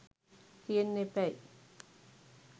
තියෙන්න එපැයි.